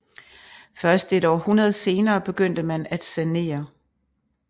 Først et århundrede senere begyndte man at sanere